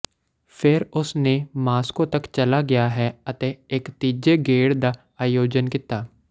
ਫਿਰ ਉਸ ਨੇ ਮਾਸ੍ਕੋ ਤੱਕ ਚਲਾ ਗਿਆ ਹੈ ਅਤੇ ਇੱਕ ਤੀਜੇ ਗੇੜ ਦਾ ਆਯੋਜਨ ਕੀਤਾ